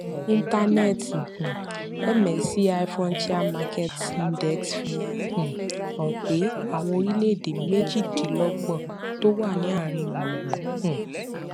íńtánẹẹẹtì um msci frontier markets index fi um hàn pé àwọn orílèèdè méjìdínlọgbọn tó wà ní àárín gbùngbùn um